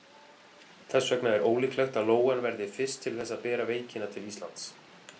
Þess vegna er ólíklegt að lóan verði fyrst til þess að bera veikina til Íslands.